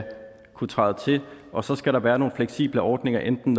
kunne træde til og så skal der være nogle fleksible ordninger enten